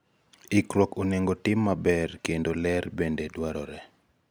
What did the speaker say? ikruok onego tim maber kendo, ler bende dwarore